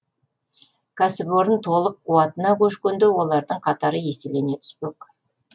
кәсіпорын толық қуатына көшкенде олардың қатары еселене түспек